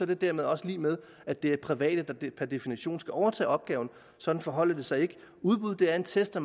det dermed også lig med at det er private der per definition skal overtage opgaven sådan forholder det sig ikke udbud er en test af